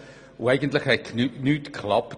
Dabei hat eigentlich nichts geklappt.